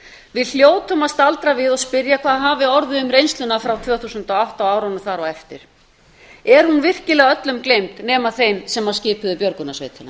við hljótum að staldra við og spyrja hvað orðið hafi um reynsluna frá tvö þúsund og átta og árunum þar á eftir er hún virkilega öllum gleymd nema þeim sem skipuðu björgunarsveitina